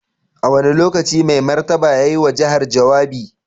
A wane lokaci Mai Martaba ya yi wa jihar jawabi?